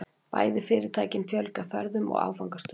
Bæði fyrirtækin fjölga ferðum og áfangastöðum